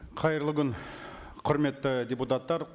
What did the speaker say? қайырлы күн құрметті депутаттар